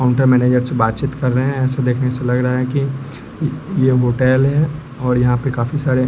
counter manager से बात से बात चीत कर रहें हैं ऐसा देखने से लग रहा है कि ये होटल है और यहां पे काफी सारे--